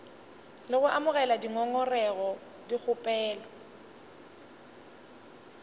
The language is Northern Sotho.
le go amogela dingongorego dikgopelo